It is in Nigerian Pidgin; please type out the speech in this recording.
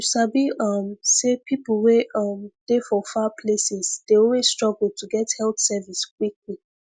you sabi um say people wey um dey for far places dey always struggle to get health service quickquick